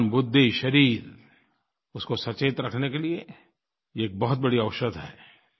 मन बुद्धि शरीर उसको सचेत रखने के लिये ये एक बहुत बड़ी औषधि है